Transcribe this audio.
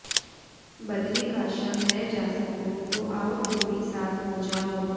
बदरिकाश्रम न जा सको तो आओ तुम भी साथ हो जाओ